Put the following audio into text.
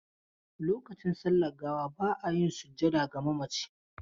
Lokacin sallar gawa ba a yin sujjada ga mamaci.